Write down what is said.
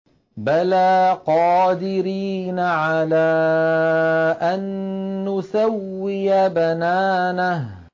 بَلَىٰ قَادِرِينَ عَلَىٰ أَن نُّسَوِّيَ بَنَانَهُ